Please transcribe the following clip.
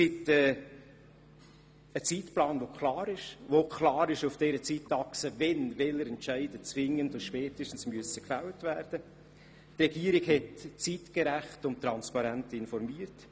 Ein Zeitplan zeigt klar auf, wann welche Entscheidungen zwingend und spätestens gefällt werden müssen, und die Regierung hat zeitgerecht und transparent informiert.